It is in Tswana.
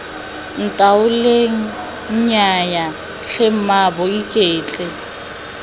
ntaoleng nnyaya tlhe mmaabo iketle